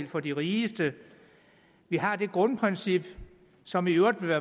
for de rigeste vi har det grundprincip som i øvrigt ville